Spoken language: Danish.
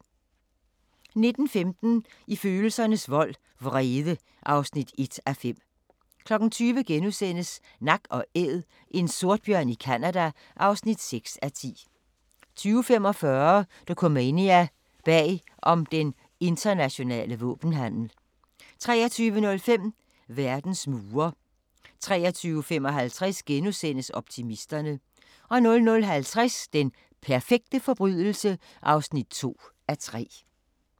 19:15: I følelsernes vold –vrede (1:5) 20:00: Nak & Æd – en sortbjørn i Canada (6:10)* 20:45: Dokumania: Bag om den internationale våbenhandel 23:05: Verdens mure 23:55: Optimisterne * 00:50: Den perfekte forbrydelse (2:3)